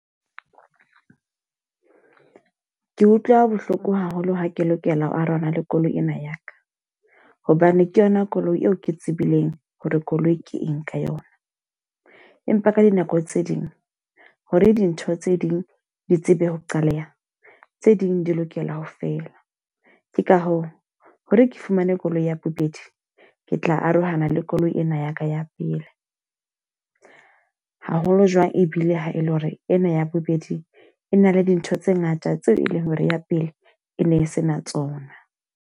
Ke utlwa bohloko haholo ha ke lokela arohana le koloi ena ya ka. Hobane ke yona koloi eo ke tsebileng hore koloi ke eng ka yona. Empa ka dinako tse ding, hore dintho tse ding di tsebe ho qaleha, tse ding di lokela ho fela. Ke ka hoo hore ke fumane koloi ya bobedi, ke tla arohana le koloi ena ya ka ya pele. Haholo jwang ebile ha e le hore ena ya bobedi e na le dintho tse ngata tseo e leng hore ya pele e ne sena tsona.